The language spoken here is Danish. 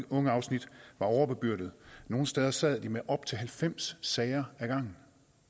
ungeafsnit var overbebyrdede nogle steder sad de med op til halvfems sager ad gangen